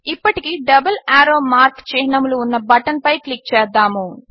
ఇప్పటికి double arrow mark చిహ్నములు ఉన్న బటన్పై క్లిక్ చేద్దాము